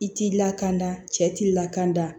I t'i lakana cɛ t'i lakanda